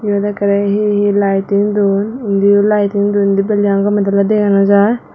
iyot ekkere he he lighting dun indi o lighting dun indi building an dole dale dega nw jiy.